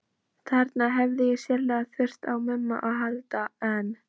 Þarna hefði ég sárlega þurft á Mumma að halda, en